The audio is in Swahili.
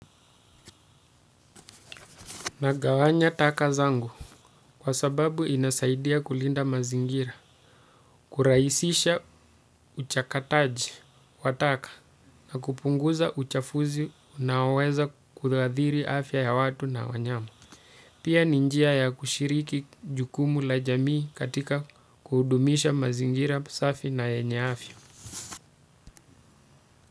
Nagawanya taka zangu kwa sababu inasaidia kulinda mazingira, kurahisisha uchakataji wa taka na kupunguza uchafuzi unaoweza kudhadhiri afya ya watu na wanyama. Pia ni njia ya kushiriki jukumu la jamii katika kudumisha mazingira safi na yenye afya.